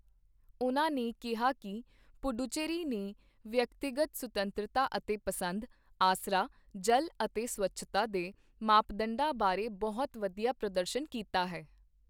ਉਨ੍ਹਾਂ ਨੇ ਕਿਹਾ ਕਿ ਪੁੱਡੁਚੇਰੀ ਨੇ ਵਿਅਕਤੀਗਤ ਸੁਤੰਤਰਤਾ ਅਤੇ ਪਸੰਦ, ਆਸਰਾ, ਜਲ ਅਤੇ ਸਵੱਛਤਾ ਦੇ ਮਾਪਦੰਡਾਂ ਬਾਰੇ ਬਹੁਤ ਵਧੀਆ ਪ੍ਰਦਰਸ਼ਨ ਕੀਤਾ ਹੈ।